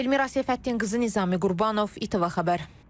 Elvira Səfəddinqızı, Nizami Qurbanov, İTV Xəbər.